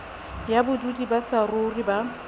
ya bodudi ba saruri ba